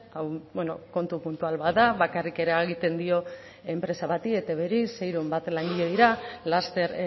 hau kontu puntual bat da bakarrik eragiten dio enpresa bati etbri seiehun bat langile dira laster